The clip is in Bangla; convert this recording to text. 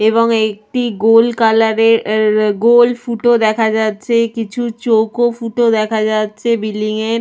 এবং একটি গোল কালার -এর অ্যা গোল ফুটো দেখা যাচ্ছে কিছু চৌক ফুটো দেখা যাচ্ছে বিল্ডিং -এর--